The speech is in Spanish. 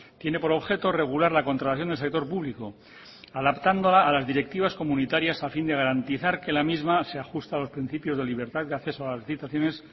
tiene por objeto regular la contratación del sector público adaptándola a las directivas comunitarias a fin de garantizar que la misma se ajusta a los principios de libertad y al acceso a las licitaciones